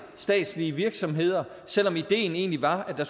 statslige virksomheder selv om ideen egentlig var at